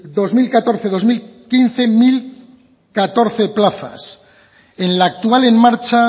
dos mil catorce dos mil quince mil catorce plazas en la actual en marcha